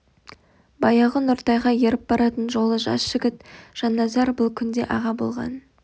баяғы нұртайға еріп баратын жолы жас жігіт жанназар бұл күнде аға болған